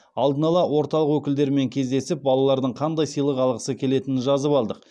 алдын ала орталық өкілдерімен кездесіп балалардың қандай сыйлық алғысы келетінін жазып алдық